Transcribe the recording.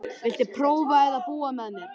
Viltu prófa að búa með mér.